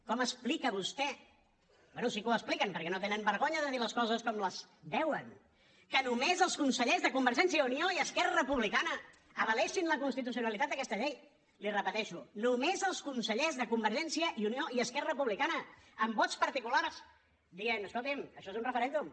com explica vostè bé sí que ho expliquen perquè no tenen vergonya de dir les coses com les veuen que només els consellers de convergència i unió i esquerra republicana avalessin la constitucionalitat d’aquesta llei li ho repeteixo només els consellers de convergència i unió i esquerra republicana amb vots particulars que deien escolti això és un referèndum